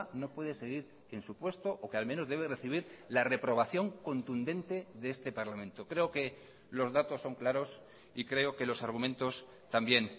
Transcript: no puede seguir en su puesto o que al menos debe recibir la reprobación contundente de este parlamento creo que los datos son claros y creo que los argumentos también